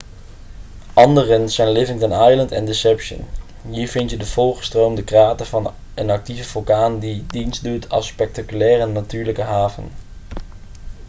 anderen zijn livingston island en deception hier vind je de volgestroomde krater van een actieve vulkaan die dienstdoet als spectaculaire natuurlijke haven